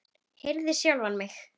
Herði sjálfa mig.